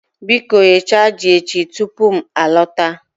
Biko Ghichaa ji echi tupu m alọta